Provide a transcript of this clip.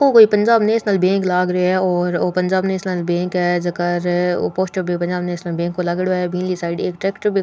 ओ कोई Punjab National Bank लाग रे है और ओ पंजाब नेशनल बैंक है जका रे ओ पोस्टर भी पंजाब नेशनल बैंक को लागेङो है बिनली साइड एक ट्रेक्टर --